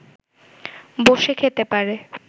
বসে খেতে পারে